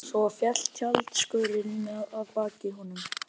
Svo féll tjaldskörin að baki honum.